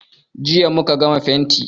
Jiya muka gama fenti.